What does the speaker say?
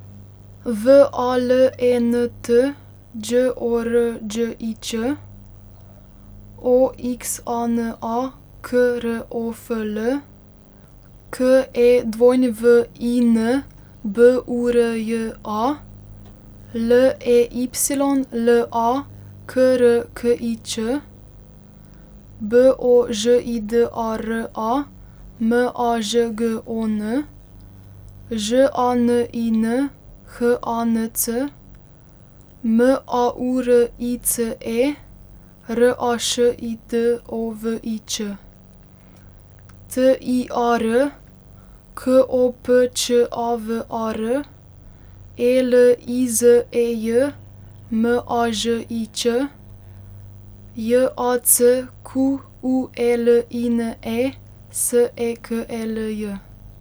V A L E N T, Đ O R Đ I Ć; O X A N A, K R O F L; K E W I N, B U R J A; L E Y L A, K R K I Ć; B O Ž I D A R A, M A Ž G O N; Ž A N I N, H A N C; M A U R I C E, R A Š I D O V I Ć; T I A R, K O P Č A V A R; E L I Z E J, M A Ž I Ć; J A C Q U E L I N E, S E K E L J.